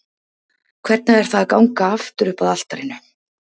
Hvernig er það að ganga aftur upp að altarinu?